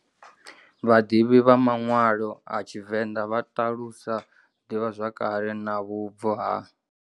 Vhaḓivhi vha manwalo a TshiVenḓa vha ṱalusa divhazwakale na vhubvo ha.